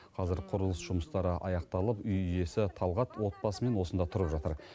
қазір құрылыс жұмыстары аяқталып үй иесі талғат отбасымен осында тұрып жатыр